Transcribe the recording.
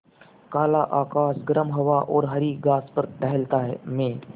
काला आकाश गर्म हवा और हरी घास पर टहलता मैं